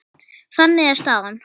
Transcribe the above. Þannig er staðan.